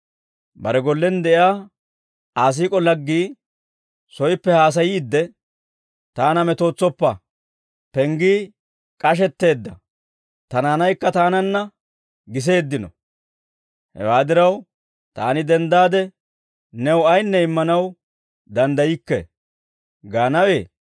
Bare gollen de'iyaa Aa siik'o laggii soyippe haasayiidde, ‹Taana metootsoppa; penggii k'ashetteedda; tanaanaykka taananna giseeddino; hewaa diraw taani denddaade new ayinne immanaw danddaykke› gaanawee?